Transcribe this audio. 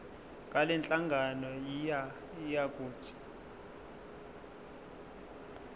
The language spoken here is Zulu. ngalenhlangano yiya kut